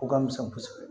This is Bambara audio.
O ka misɛn kosɛbɛ